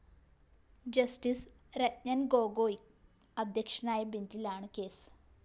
justice Ranjan‍ Gogoi അധ്യക്ഷനായ ബെഞ്ചിലാണ് case